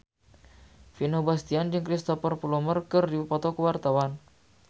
Vino Bastian jeung Cristhoper Plumer keur dipoto ku wartawan